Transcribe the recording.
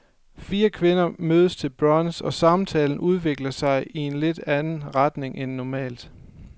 Fire kvinder mødes til brunch, og samtalen udvikler sig i en lidt anden retning end normalt.